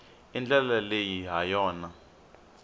i ndlela leyi ha yona